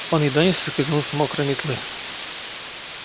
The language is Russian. он едва не соскользнул с мокрой метлы